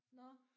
Nåh